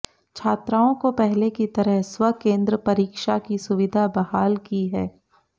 छात्राओं को पहले की तरह स्वकेंद्र परीक्षा की सुविधा बहाल की है